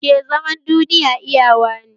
Ke zaman duniya iyawa ne!